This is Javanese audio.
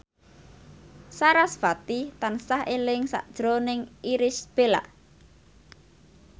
sarasvati tansah eling sakjroning Irish Bella